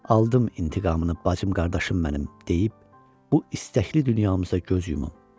Aldım intiqamını bacım, qardaşım mənim, deyib bu istəkli dünyamızda göz yumum.